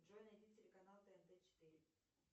джой найди телеканал тнт четыре